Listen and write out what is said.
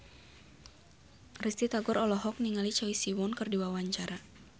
Risty Tagor olohok ningali Choi Siwon keur diwawancara